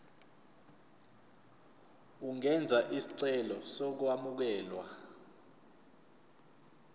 ungenza isicelo sokwamukelwa